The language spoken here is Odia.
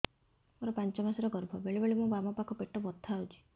ମୋର ପାଞ୍ଚ ମାସ ର ଗର୍ଭ ବେଳେ ବେଳେ ମୋ ବାମ ପାଖ ପେଟ ବଥା ହଉଛି